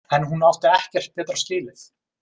En hún átti ekkert betra skilið.